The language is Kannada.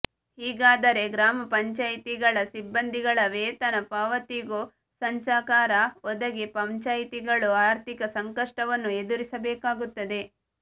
ಹೀಗಾದರೆ ಗ್ರಾಮಪಂಚಾಯಿತಿಗಳ ಸಿಬ್ಬಂದಿಗಳ ವೇತನ ಪಾವತಿಗೂ ಸಂಚಕಾರ ಒದಗಿ ಪಂಚಾಯಿತಿಗಳು ಆರ್ಥಿಕ ಸಂಕಷ್ಟವನ್ನು ಎದುರಿಸಬೇಕಾಗುತ್ತದೆ